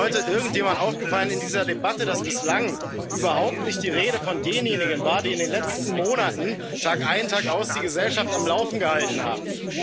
Aber ist hier heute irgendjemandem in dieser Debatte aufgefallen, dass bislang überhaupt nicht die Rede von denjenigen war, die in den letzten Monaten tagein, tagaus die Gesellschaft am Laufen gehalten haben?